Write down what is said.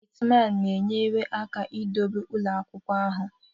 Gateman na-enyere aka idobe ụlọ akwụkwọ ahụ.